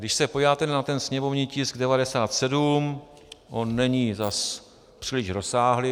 Když se podíváte na ten sněmovní tisk 97, on není zase příliš rozsáhlý.